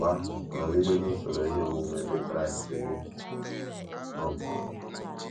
Mgbe ahụ nọgide n’usoro ihe omume Ndị Kraịst gị. um